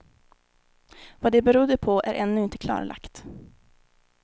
Vad det berodde på är ännu inte klarlagt.